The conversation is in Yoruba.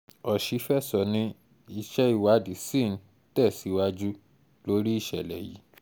ọṣifẹsọ ni iṣẹ iwadii sii n tẹsiwaju lori iṣẹlẹ yìí